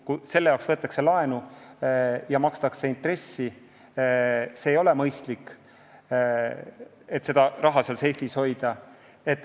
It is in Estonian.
Kui selle hoidmiseks võetakse laenu ja makstakse intressi, siis ei ole mõistlik raha seal seifis hoida.